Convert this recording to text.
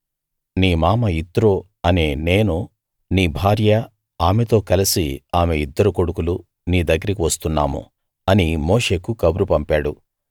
నీ మామ యిత్రో అనే నేనూ నీ భార్య ఆమెతో కలసి ఆమె ఇద్దరు కొడుకులు నీ దగ్గరికి వస్తున్నాము అని మోషేకు కబురు పంపాడు